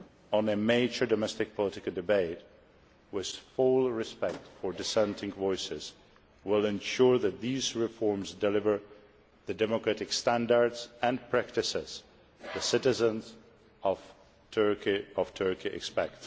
Only a mature domestic political debate, with full respect for dissenting voices, will ensure that these reforms deliver the democratic standards and practices the citizens of Turkey expect.